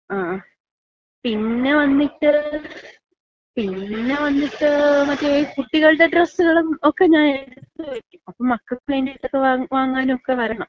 ങ്ങാ. പിന്ന വന്നിട്ട് പിന്ന വന്നിട്ട് മറ്റേ കുട്ടികളുടെ ഡ്രസ്സുകളും ഒക്ക ഞാൻ എടുത്ത് വയ്ക്കും. അപ്പോ മക്കൾക്ക് വേണ്ടിയിട്ട് വാങ്ങാൻ വാങ്ങാനൊക്ക വരണം.